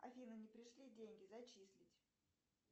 афина не пришли деньги зачислить